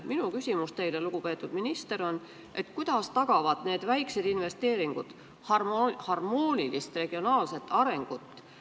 Minu küsimus teile, lugupeetud minister, on: kuidas tagavad need väiksed investeeringud harmoonilise regionaalse arengu?